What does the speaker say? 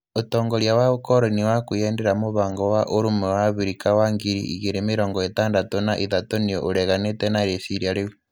Ũtongoria wa ũkoroni wa kwĩendera Mũbango wa Ũrũmwe wa Abirika wa ngiri igĩrĩ mĩrongo ĩtandatũ na ithatũ nĩ ũreganĩte na rĩciria rĩu.